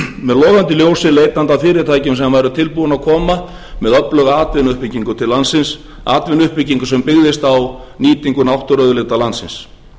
logandi ljósi leitandi að fyrirtækjum sem væru tilbúin að koma með öfluga atvinnuuppbyggingu til landsins atvinnuuppbyggingu sem byggðist á nýtingu náttúruauðlinda landsins